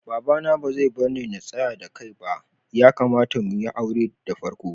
Baba na ba zai barni na tsaya da kai ba ,ya kamata muyi haure da farko.